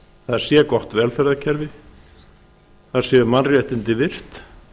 það sé gott velferðarkerfi þar séu mannréttindi virt